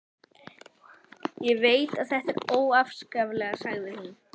Ég veit að þetta er óafsakanlegt, sagði hún.